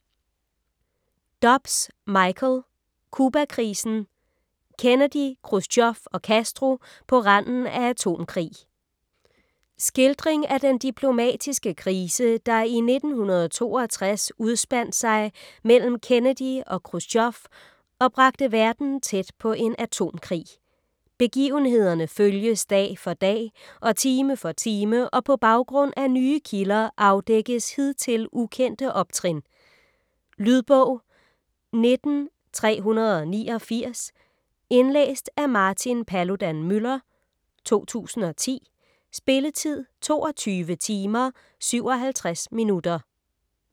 Dobbs, Michael: Cubakrisen: Kennedy, Khrusjtjov og Castro på randen af atomkrig Skildring af den diplomatiske krise, der i 1962 udspandt sig mellem Kennedy og Khrusjtjov og bragte verden tæt på en atomkrig. Begivenhederne følges dag for dag og time for time og på baggrund af nye kilder afdækkes hidtil ukendte optrin. Lydbog 19389 Indlæst af Martin Paludan-Müller, 2010. Spilletid: 22 timer, 57 minutter.